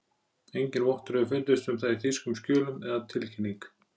Enginn vottur hefur fundist um það í þýskum skjölum, að tilkynning